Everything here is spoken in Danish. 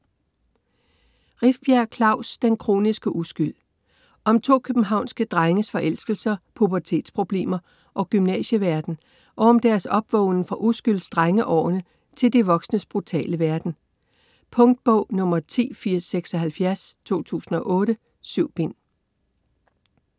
Rifbjerg, Klaus: Den kroniske uskyld Om to københavnske drenges forelskelser, pubertetsproblemer og gymnasieverden og om deres opvågnen fra uskylds-drengeårene til de voksnes brutale verden. Punktbog 108076 2008. 7 bind.